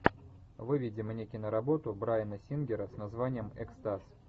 выведи мне киноработу брайана сингера с названием экстаз